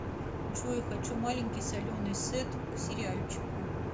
джой хочу маленький соленый сет к сериальчику